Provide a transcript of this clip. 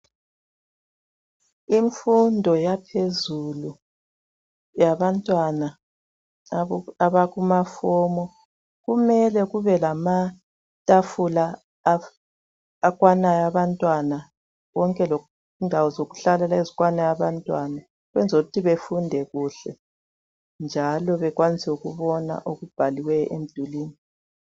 Imfundo yaphezulu yabantwana abakuma form kumele kube lamatafula akwana abantwana konke lendawo zokuhlala ezikwana abantwana ukwenzela ukuthi befunde kuhle njalo bekwanise ukubona okubhalwe emdulwini.